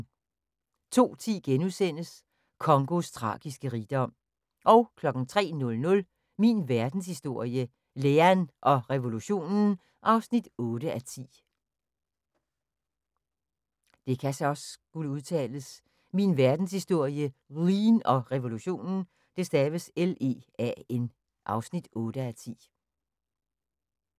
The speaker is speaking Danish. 02:10: Congos tragiske rigdom * 03:00: Min verdenshistorie - Lean og revolutionen (8:10)